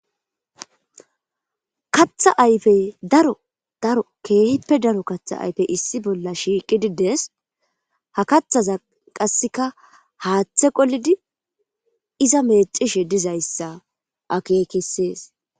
Katha ayfey daro daro keehippe daro katha ayfey issi bolla shiiqidi de7ees. Ha kathaza qassikka haathe qolidi iza meeccishe dizayssa akeekisees.